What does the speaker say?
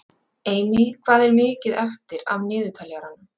Amy, hvað er mikið eftir af niðurteljaranum?